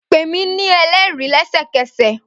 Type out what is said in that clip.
Pe mi ni ẹlẹri lẹsẹkẹsẹ!